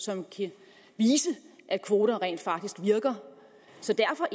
som kan vise at kvoter rent faktisk virker så derfor